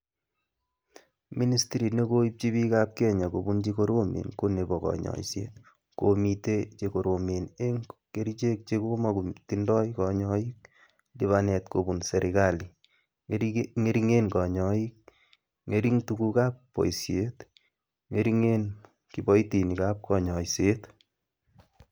Ministrit ne koipchi piikab kenya kopun che koromen ko nebo kanyoiset, komitei che koromen eng kerichek che komakotindoi kanyoik, lipanet kobun serikali, ngeringen konyoik, ngering tugukab boisiet, ngeringen kipoitinikab kanyoiset.